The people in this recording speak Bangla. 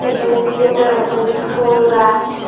এখানে বিভিন্ন রকমের ফুল গাছ--